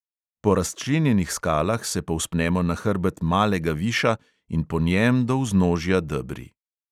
Po razčlenjenih skalah se povzpnemo na hrbet malega viša in po njem do vznožja debri.